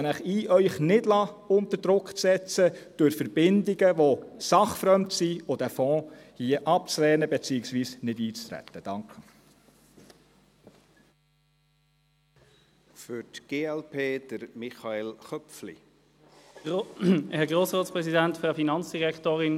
Ich lade Sie ein, sich nicht durch Verbindungen, die sachfremd sind, unter Druck setzen zu lassen, und diesen Fonds abzulehnen, beziehungsweise nicht einzutreten.